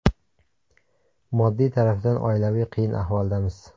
Moddiy tarafdan oilaviy qiyin ahvoldamiz.